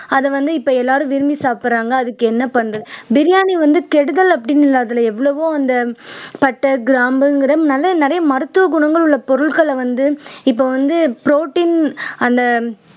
அதை வந்து இப்ப எல்லாரும் விரும்பி சாப்பிடுறாங்க அதுக்கு என்ன பண்றது பிரியாணி வந்து கெடுதல் அப்படின்னு இல்லை அதுல எவ்வளவோ அந்த பட்டை, கிராம்புங்கிற நல்ல நிறைய மருத்துவ குணங்கள் உள்ள பொருட்களை வந்து இப்ப வந்து protein அந்த